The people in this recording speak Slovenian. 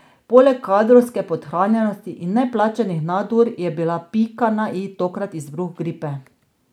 Poleg kadrovske podhranjenosti in neplačanih nadur je bila pika na i tokrat izbruh gripe.